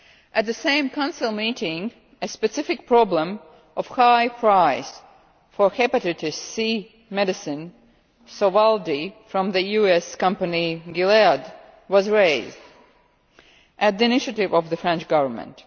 At the same Council meeting, a specific problem of the high price for the hepatitis C medicine Sovaldi from the US company Gilead was raised, at the initiative of the French Government.